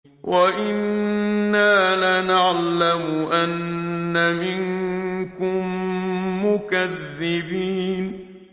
وَإِنَّا لَنَعْلَمُ أَنَّ مِنكُم مُّكَذِّبِينَ